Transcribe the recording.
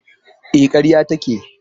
E, karya take.